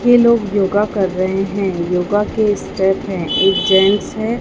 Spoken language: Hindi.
ये लोग योगा कर रहे हैं योगा के स्टेप हैं एक जेंट्स है।